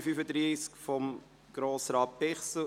Ich gebe Grossrat Bichsel das Wort.